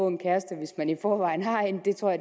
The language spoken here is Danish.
en kæreste hvis man i forvejen har en